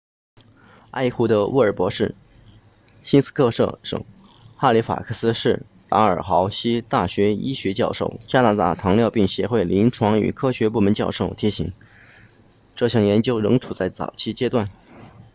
埃胡德乌尔博士新斯科舍省哈利法克斯市达尔豪西大学医学教授加拿大糖尿病协会临床与科学部门教授提醒这项研究仍处在早期阶段